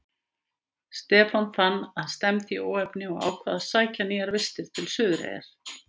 Stefán fann að stefndi í óefni og ákvað að sækja nýjar vistir til Suðureyrar.